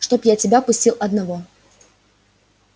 чтоб я тебя пустил одного